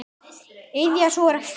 Iðja sú er ekki góð.